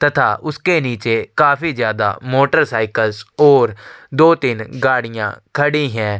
तथा उसके निचे काफी ज्यादा मोटर साइकिल और दो तीन गाड़िया खड़ी है।